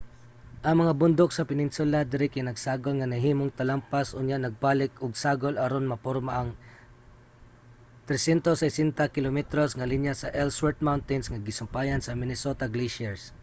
ang mga bundok sa peninsula diri kay nagsagol nga nahimong talampas unya nagbalik og sagol aron maporma ang 360 km nga linya sa ellsworth mountains nga gisumpayan sa minnesota glacier